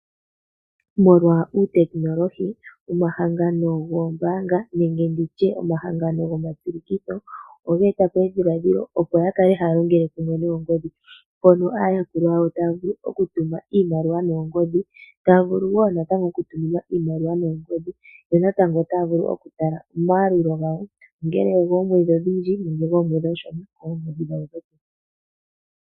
Molwa uutekinolohi, omahangano goombaanga nenge nditye omahangano gomatsilikitho oge eta po edhiladhilo opo ya kale haya longele kumwe noongodhi mpono aayakulwa yawo taya vulu okutuma iimaliwa noongodhi, taya vulu wo natango okutuminwa iimaliwa noongodhi, yo natango otaya vulu oku tala omayalulo gawo ongele ogoomwedhi odhindji nenge goomwedhi oonshona koongodhi dhawo dhopeke.